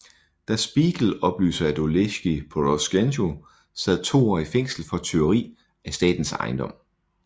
Der Spiegel oplyser at Oleksíj Porosjenko sad to år i fængsel for tyveri af statens ejendom